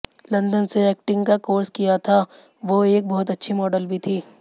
London से acting का course किया था वो एक बहुत अच्छी मॉडल भी थीं